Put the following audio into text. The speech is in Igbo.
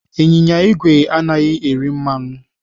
Ịnyịnya igwe anaghị eri mmanụ.